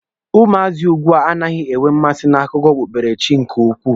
Ụmụazị ugbua anaghị enwe mmasị na akụkọ okpukpere chi nke ukwuu.